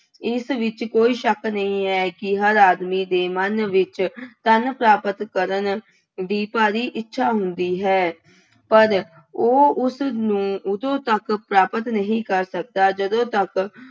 ਇਸ ਵਿੱਚ ਕੋਈ ਸ਼ੱਕ ਨਹੀਂ ਹੈ ਕਿ ਹਰ ਆਦਮੀ ਦੇ ਮਨ ਵਿੱਚ ਧੰਨ ਪ੍ਰਾਪਤ ਕਰਨ ਦੀ ਭਾਰੀ ਇੱਛਾ ਹੁੰਦੀ ਹੈ, ਪਰ ਉਹ ਉਸਨੂੰ ਉਦੋਂ ਤੱਕ ਪ੍ਰਾਪਤ ਨਹੀਂ ਕਰ ਸਕਦਾ ਜਦੋਂ ਤੱਕ